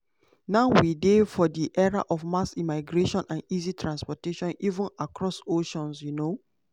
"now we dey for era of mass migration and easy transportation even across oceans. um